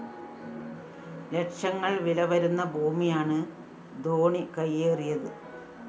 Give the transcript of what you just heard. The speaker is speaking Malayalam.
ലക്ഷങ്ങള്‍ വില വരുന്ന ഭൂമിയാണ് ധോണി കൈയേറിയത്